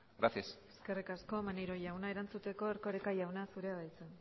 gracias eskerrik asko maneiro jauna erantzuteko erkoreka jauna zurea da hitza